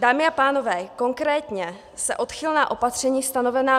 Dámy a pánové, konkrétně se odchylná opatření stanovená